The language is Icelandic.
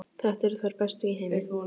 Þetta eru þær bestu í heimi!